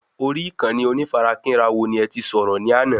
Orí Ìkànnì onífarakínra wo ní ẹti sọ̀rọ̀ ní àná?